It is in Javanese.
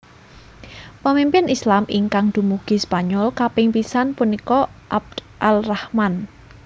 Pemimpin Islam ingkang dumugi Spanyol kaping pisan punika Abd al Rahman